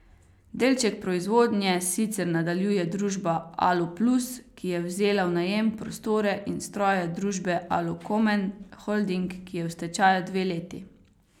Z večjo geografsko in valutno razpršitvijo izvoza bomo tudi bolje pripravljeni na morebitno novo krizo evra in evrskega območja.